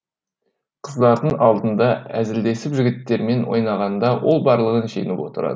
қыздардың алдында әзілдесіп жігіттермен ойнағанда ол барлығын жеңіп отырады